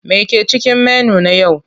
Me ke cikin menu na yau?